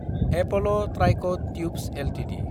Apollo tricot tubes Ltd